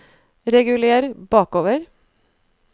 reguler bakover